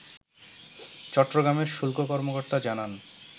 চট্টগ্রামের শুল্ক কর্মকর্তা জানান